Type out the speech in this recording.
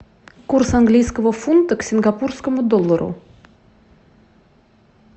курс английского фунта к сингапурскому доллару